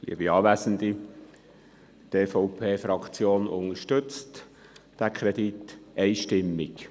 Die EVP-Fraktion unterstützt diesen Objektkredit einstimmig.